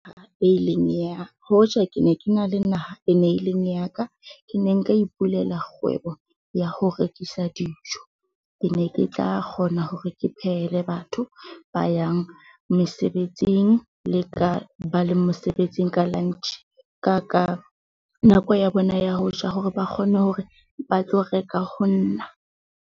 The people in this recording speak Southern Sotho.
He e ileng ya hoja ke ne ke na le naha e ne e leng ya ka, ke ne nka ipulela kgwebo ya ho rekisa dijo. Ke ne ke tla kgona hore ke phehele batho ba yang mesebetsing le ka ba le mosebetsing ka lunch, ka ka nako ya bona ya ho ja hore ba kgone hore ba tlo reka ho nna.